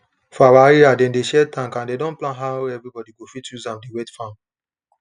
for our area dem dey share tank and dem don plan how everyone go fit use am dey wet farm